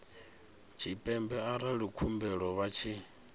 tshipembe arali khumbelo vha tshi